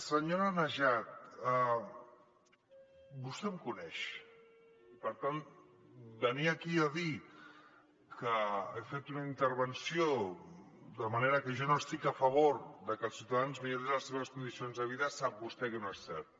senyora najat vostè em coneix i per tant venir aquí a dir que he fet una intervenció de manera que jo no estic a favor que els ciutadans millorin les seves condicions de vida sap vostè que no és cert